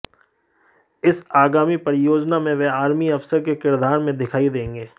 इस आगामी परियोजना में वह आर्मी अफसर के किरदार में दिखाई देंगे